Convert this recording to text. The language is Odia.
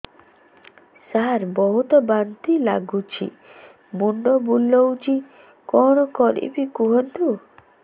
ସାର ବହୁତ ବାନ୍ତି ଲାଗୁଛି ମୁଣ୍ଡ ବୁଲୋଉଛି କଣ କରିବି କୁହନ୍ତୁ